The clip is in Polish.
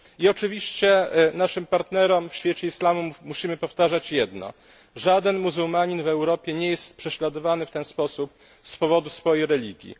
I oczywiście naszym partnerom w świecie islamu musimy powtarzać jedno żaden muzułmanin w Europie nie jest prześladowany w ten sposób z powodu swojej religii.